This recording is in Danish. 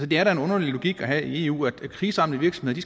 det er da en underlig logik at have i eu at kriseramte virksomheder